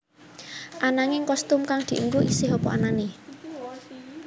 Ananging kostum kang dianggo isih apa anané